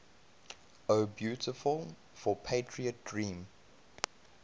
o beautiful for patriot dream